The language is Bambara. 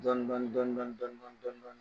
Dɔɔni Dɔɔni Dɔɔni Dɔɔni Dɔɔndoinu Dɔɔndoinu